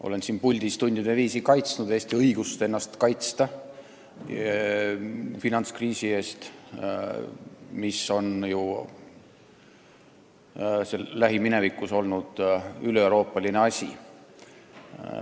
Olen siin puldis tundide viisi kaitsnud Eesti õigust kaitsta ennast finantskriisi eest, mis lähiminevikus oli üleeuroopaline asi.